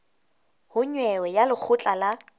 ho nyewe ya lekgotla la